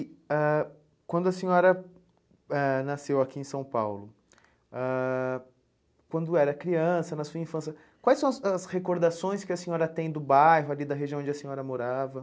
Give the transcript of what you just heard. E ãh quando a senhora ãh nasceu aqui em São Paulo, ãh quando era criança, na sua infância, quais são as as recordações que a senhora tem do bairro, ali da região onde a senhora morava?